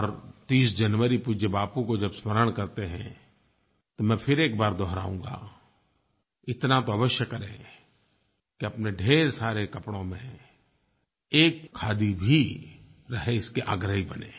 और 30 जनवरी पूज्य बापू को जब स्मरण करते हैं तो मैं फिर एक बार दोहराऊँगा इतना तो अवश्य करें कि अपने ढेर सारे कपड़ों में एक खादी भी रहे इसके आग्रही बनें